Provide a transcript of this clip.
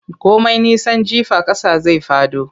Komai nisan jifa ƙasa zai fado.